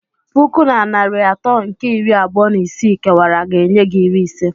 Puku na narị atọ nke iri abụọ na isii kewara ga-enye gị iri ise.